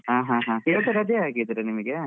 ಹಾ ಹಾಗೆ. ಈಗ ರಜೇ ಹಾಗಿದ್ರೆ ನಿಮ್ಗೆ.